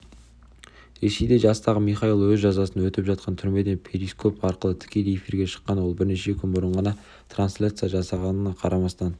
ресейде жастағы михаил өзі жазасын өтеп жатқан түрмеден перископ арқылы тікелей эфирге шыққан ол бірнеше күн бұрын ғана транслияция жасағанына қарамастан